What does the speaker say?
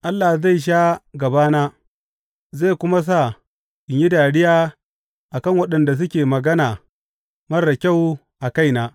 Allah zai sha gabana zai kuma sa in yi dariya a kan waɗanda suke magana marar kyau a kaina.